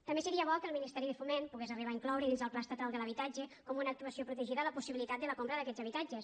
també seria bo que el ministeri de foment pogués arribar a incloure dins el pla estatal de l’habitatge com una actuació protegida la possibilitat de la compra d’aquests habitatges